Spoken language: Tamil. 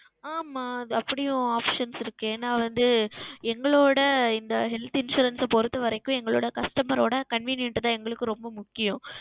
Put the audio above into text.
ஆமாம் அப்படியும் Options இருக்கிறது ஏனால் வந்து எங்களுடைய எங்கள் Health Insurance பொருத்த வரைக்கும் எங்களுடைய Customer அவர்களுடைய Convenient தான் எங்களுக்கு ரொம்ப முக்கியம்